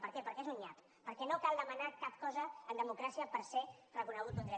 per què perquè és un nyap perquè no cal demanar cap cosa en democràcia per ser reconegut un dret